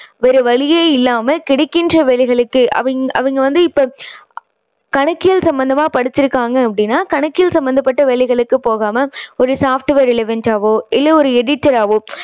வேற வழியே இல்லாம கிடைக்கின்ற வேலைகளுக்கு அவங்~அவங்க வந்து இப்போ கணக்கியல் சம்மந்தமா படிச்சுருக்காங்க அப்படின்னா கணக்கியல் சம்மந்தப்பட்ட வேலைகளுக்கு போகாம ஒரு software டாவோ இல்ல ஒரு editor ஆவோ